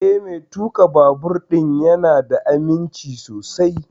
Eh, Mai tuƙa babur ɗin ya na da aminci sosai